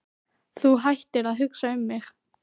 Þú hættir að hugsa um mig.